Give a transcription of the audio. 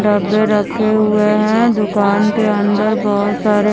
डब्बे रखे हुए हैं दुकान के अंदर बहोत सारे--